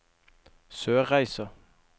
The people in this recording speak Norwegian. Sørreisa